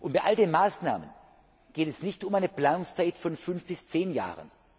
Bei all diesen Maßnahmen geht es nicht um eine Planungszeit von fünf bis zehn Jahren.